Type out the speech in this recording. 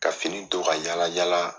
Ka fini don ka yala yala